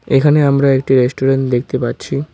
এখানে আমরা একটি রেস্টুরেন্ট দেখতে পাচ্ছি।